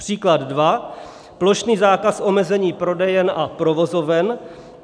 Příklad dva: plošný zákaz omezení prodejen a provozoven;